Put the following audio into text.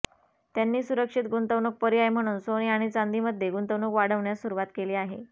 त्यांनी सुरक्षित गुंतवणूक पर्याय म्हणून सोने आणि चांदीमध्ये गुंतवणूक वाढवण्यास सुरुवात केली आहे